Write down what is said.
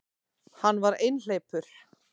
Hann var einhleypur.